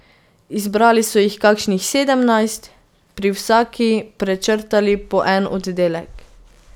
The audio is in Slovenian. Izbrali so jih kakšnih sedemnajst in pri vsaki prečrtali po en oddelek.